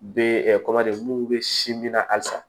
Be mun be si min na halisa